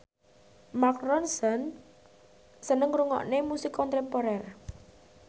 Mark Ronson seneng ngrungokne musik kontemporer